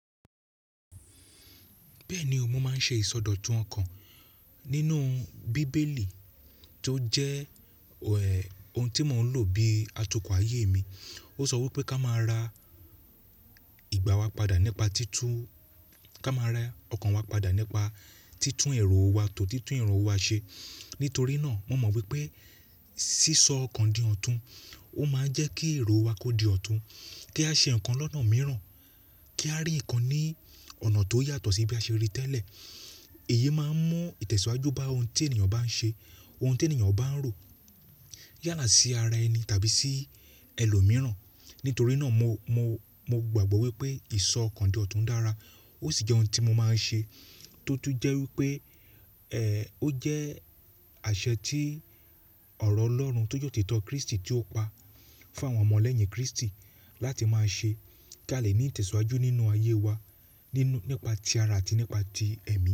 Bẹ́ẹ̀ni, ọmọ máa ń ṣe ìsọdọ̀tun ọkàn. Nínú bíbélì tó jẹ́ ohun tí mò ń lò bí atukọ̀ ayé mi, ó sọ wípé ká máa ra ìgbà wa padà nípa títún, ká máa ra ọkàn wa padà nípa títún ero wa tò, títú ero wa ṣe. Nítorí náà, mo mọ̀ wípé sísọ ọkàn dì ọ̀tún, ó máa ń jẹ́ kí èrò wa kó di ọ̀tún, kí a ṣe ǹkan lọ́nà mìíràn, kí a rí ǹkan ní ọ̀nà tó yàtọ̀ sí bí a ṣe rí í tẹ́lẹ̀. Èyí máa ń mú ìtẹ̀síwájú bá ohun tí ènìyàn bá ń ṣe, ohun tí ènìyàn bá ń rò yàlà sí ara ẹni tàbí sí ẹlòmíràn. Nítorí náà mo, mo, mo gbàgbọ́ wípé ìsọ ọkàn dì ọ̀tún dára ó sì jẹ́ ohun tí mo máa ń ṣe tó tún jẹ́ wípé ẹ̀ ó jẹ́ àṣẹ tí ọ̀rọ̀ Ọlọ́run tó jẹ́ otítọ́ Kristì tí ó pa fún àwọn ọmọ lẹ́yìn Kristi láti máa ṣe kí a lè ní ìtẹ̀síwájú nínú ayé wa nínú nípa ti ara àti nípa ti ẹ̀mí.